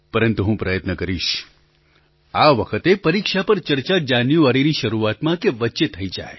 પરંતુ હું પ્રયત્ન કરીશ આ વખતે પરીક્ષા પર ચર્ચા જાન્યુઆરીની શરૂઆતમાં કે વચ્ચે થઈ જાય